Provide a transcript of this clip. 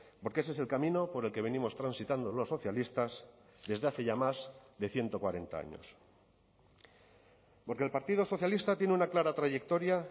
porque ese es el camino por el que venimos transitando los socialistas desde hace ya más de ciento cuarenta años porque el partido socialista tiene una clara trayectoria